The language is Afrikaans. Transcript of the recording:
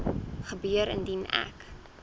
gebeur indien ek